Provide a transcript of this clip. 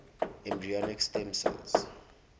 embryonic stem cell